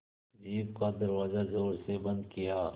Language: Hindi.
जीप का दरवाज़ा ज़ोर से बंद किया